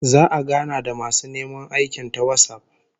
Za'a gana da masu neman aikin ta WhatsApp